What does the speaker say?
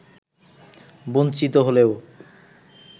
বঞ্চিত হলেও